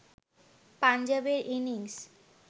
পাঞ্জাবের ইনিংস